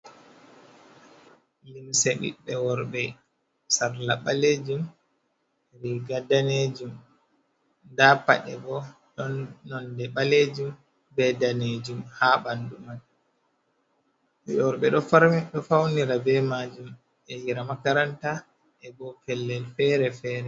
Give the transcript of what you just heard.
Limse ɓiɓɓe worɓe, sarla balejum riga danejum, nda paɗe bo, don nonde balejum be danejum ha bandu man, worbe do faunira be majum e ya hira makaranta e bo pellel fere fere.